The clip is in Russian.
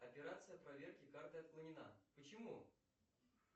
операция проверки карты отклонена почему